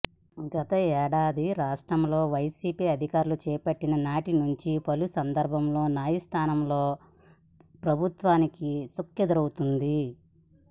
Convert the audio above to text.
గతేడాది రాష్ట్రంలో వైసీపీ అధికారం చేపట్టిన నాటి నుంచి పలు సందర్భాల్లో న్యాయస్ధానాల్లో ప్రభుత్వానికి చుక్కెదురవుతోంది